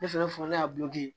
Ne fɛnɛ fɔ ne y'a